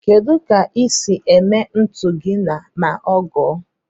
Kedu ka ise eme ntu gi ma ọaa ngo